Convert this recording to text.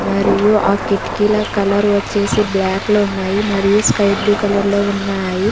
మరియు ఆ కిటికీల కలర్ వచ్చేసి బ్లాక్ లు ఉన్నాయి మరియు స్కై బ్లూ కలర్ లో ఉన్నాయి.